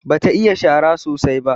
Bata iya shara sosai ba.